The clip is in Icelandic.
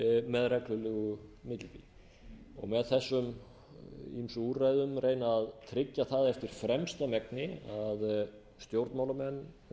með reglulegu millibili og með þessum ýmsu úrræðum reyna að tryggja það eftir fremsta megni að stjórnmálamenn